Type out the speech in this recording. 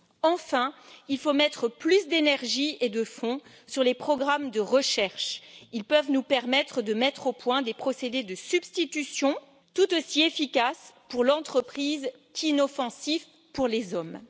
Enfin, il faut investir plus d'énergie et de fonds dans les programmes de recherche ils peuvent nous permettre de mettre au point des procédés de substitution tout aussi efficaces pour l'entreprise qu'inoffensifs pour les hommes.